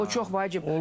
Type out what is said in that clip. O çox vacibdir.